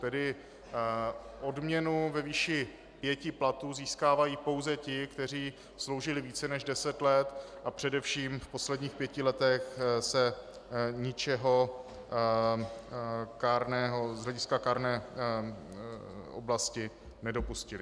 Tedy odměnu ve výši pěti platů získávají pouze ti, kteří sloužili více než deset let a především v posledních pěti letech se ničeho z hlediska kárné oblasti nedopustili.